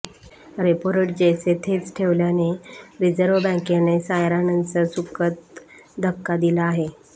repo rate जैसे थेच ठेवल्याने रिझर्व्ह बँकेने साऱयानांच सुखद धक्का दिला आहे